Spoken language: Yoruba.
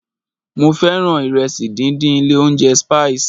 Mo fẹ́ràn ìrẹsì díndín ilé óúnjẹ Spices.